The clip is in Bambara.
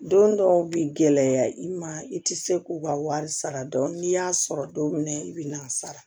Don dɔw bɛ gɛlɛya i ma i tɛ se k'u ka wari sara dɔɔni n'i y'a sɔrɔ don min i bi n'a sara